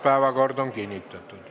Päevakord on kinnitatud.